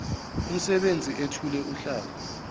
umsebenzi ethule uhlaka